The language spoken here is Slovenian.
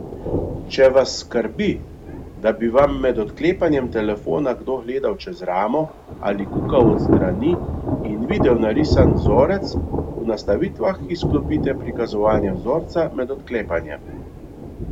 Če vas skrbi, da bi vam med odklepanjem telefona kdo gledal čez ramo ali kukal od strani in videl narisan vzorec, v nastavitvah izklopite prikazovanje vzorca med odklepanjem.